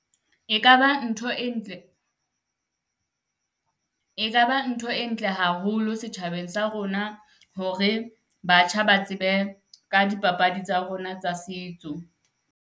E ka ba ntho e ntle, e ka ba ntho e ntle haholo setjhabeng sa rona hore batjha ba tsebe ka dipapadi tsa rona tsa setso.